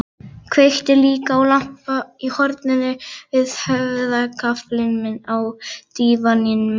Kveikti líka á lampa í horninu við höfðagaflinn á dívaninum.